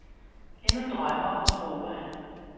Endnu drømmer og håber han.